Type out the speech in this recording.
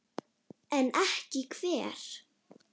Veitti hún honum falskt öryggi?